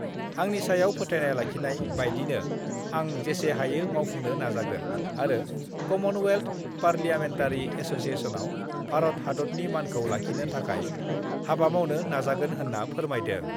आंनि सायाव फोथाइनाय लाखिनाय बायदिनो आं जेसे हायो मावफुंनो नाजागोन आरो कमनवेल्थ पारलियामेनटारि एस'सियेसनाव भारत हादतनि मानखौ लाखिनो थाखाय हाबा मावनो नाजागोन होन्ना फोरमायदों।